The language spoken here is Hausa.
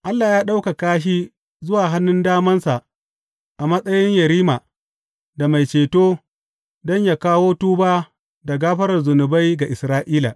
Allah ya ɗaukaka shi zuwa hannun damansa a matsayin Yerima da Mai Ceto don yă kawo tuba da gafarar zunubai ga Isra’ila.